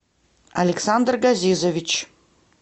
александр газизович